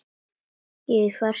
Í fjarska heyrist í hundi.